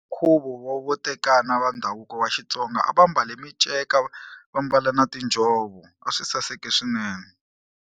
Nkhuvo wo tekana va ndhavuko wa Xitsonga a va mbale miceka vambala na tinjhovo a swi saseke swinene.